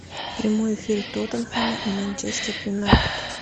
прямой эфир тоттенхэма и манчестер юнайтед